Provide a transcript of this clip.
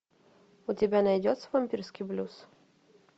у тебя найдется вампирский блюз